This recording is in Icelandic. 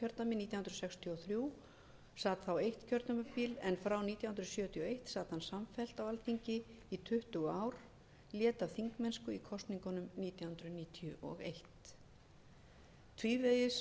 nítján hundruð sextíu og þrjú og sat þá eitt kjörtímabil en frá nítján hundruð sjötíu og einn sat hann samfellt á alþingi í tuttugu ár lét af þingmennsku í kosningunum nítján hundruð níutíu og eitt tvívegis